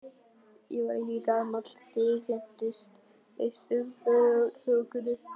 Ég var ekki gamall þegar ég kynntist Austfjarðaþokunni.